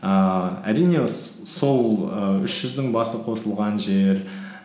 ііі әрине сол ііі үш жүздің басы қосылған жер